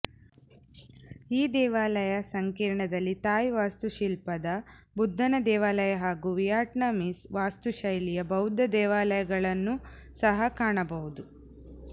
ಈ ದೇವಾಲಯ ಸಂಕೀರ್ಣದಲ್ಲಿ ಥಾಯ್ ವಾಸ್ತುಶಿಲ್ಪದ ಬುದ್ಧನ ದೇವಾಲಯ ಹಾಗೂ ವಿಯಟ್ನಾಮೀಸ್ ವಾಸ್ತುಶೈಲಿಯ ಬೌದ್ಧ ದೇವಾಲಯಗಳನ್ನೂ ಸಹ ಕಾಣಬಹುದು